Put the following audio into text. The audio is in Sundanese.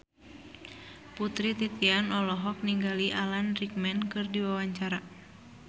Putri Titian olohok ningali Alan Rickman keur diwawancara